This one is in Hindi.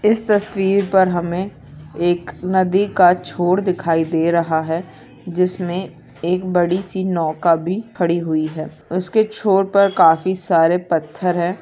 इस तस्वीर पर हमें एक नदी का छोड़ दिखाई दे रहा है जिसमें एक बड़ी सी नौका भी खड़ी हुई है उसके छोर पर काफी सारे पत्थर है।